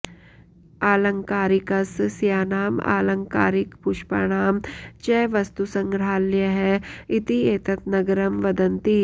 आलङ्कारिकसस्यानाम् आलङ्कारिकपुष्पाणां च वस्तुसङ्ग्रहालयः इति एतत् नगरं वदन्ति